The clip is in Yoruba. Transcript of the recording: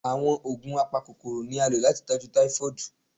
Àwọn oògùn apakokoro ni a lo láti tọjú typhoid